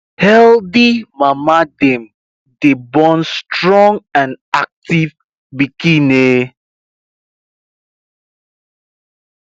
healthy mama dem day born strong and active piken um